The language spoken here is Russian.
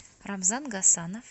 рамзан гасанов